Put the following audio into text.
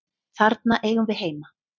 Þarna eigum við heima.